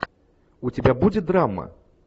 у тебя будет драма